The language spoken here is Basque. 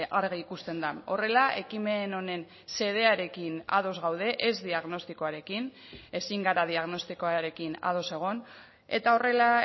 argi ikusten da horrela ekimen honen xedearekin ados gaude ez diagnostikoarekin ezin gara diagnostikoarekin ados egon eta horrela